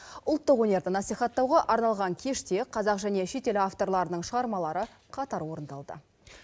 ұлттық өнерді насихаттауға арналған кеште қазақ және шетел авторларының шығармалары қатар орындалды